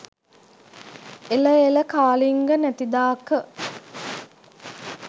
එළ එළ කාලිංග නැතිදාක